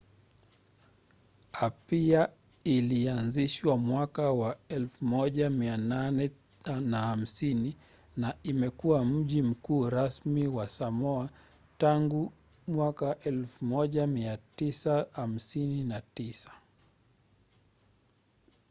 apia ilianzishwa miaka ya 1850 na imekuwa mji mkuu rasmi wa samoa tangu 1959